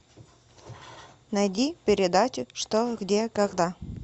найди передачу что где когда